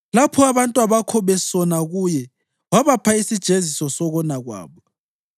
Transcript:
Lapho abantwabakho besona kuye, wabapha isijeziso sokona kwabo.